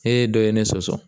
E ye dɔ ye ne sɔsɔ